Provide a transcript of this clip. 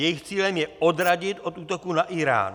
Jejich cílem je odradit od útoku na Írán.